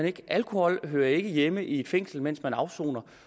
ikke alkohol hører ikke hjemme i et fængsel mens man afsoner